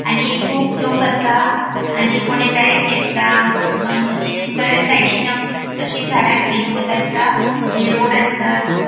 आणि खूप लोक असा आणि कोणे बेग घेतला आणि थय साइडीन अशी झाडा ग्रीन कलर असा आणि रोड असा.